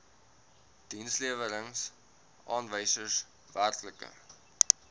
dienslewerings aanwysers werklike